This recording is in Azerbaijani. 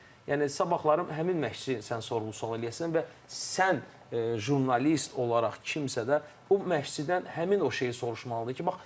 Yəni sabahları həmin məşqçiyə sən sual-cavab eləyəsən və sən jurnalist olaraq kimsə də o məşqçidən həmin o şeyi soruşmalıdır ki, bax filankəsi nəyə görə çağırdın?